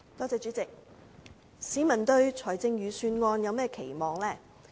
主席，市民對財政預算案有甚麼期望？